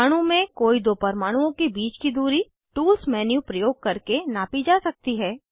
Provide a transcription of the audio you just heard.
अणु में कोई दो परमाणुओं के बीच की दूरी टूल्स मेन्यू प्रयोग करके नापी जा सकती है